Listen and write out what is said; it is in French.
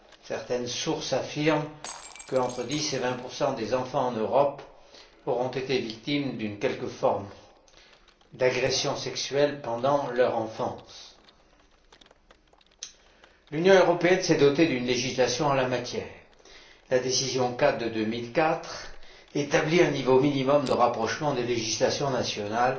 Certaines sources affirment qu'entre 10 et 20 des enfants en Europe auront été victimes de l'une ou l'autre forme d'agression sexuelle pendant leur enfance. L'Union européenne s'est dotée d'une législation en la matière. La décision cadre de 2004 établit un niveau minimum de rapprochement des législations nationales